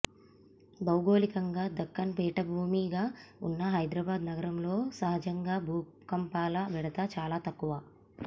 భౌగోళికంగా దక్కన్ పీఠభూమిగా ఉన్న హైదరాబాద్ నగరంలో సహజంగా భూకంపాల బెడద చాలా తక్కువ